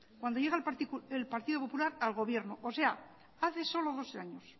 cuando llega el partido popular al gobierno o sea hace solo dos años